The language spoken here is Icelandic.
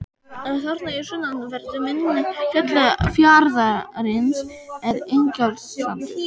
Þarna í sunnanverðu mynni fjarðarins er Ingjaldssandur.